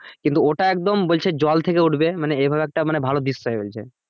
কিন্তু ওটা একদম বলছে জল থেকে উঠবে মানে এভাবে একটা মানে ভালো দৃশ্য হয়ে বলছে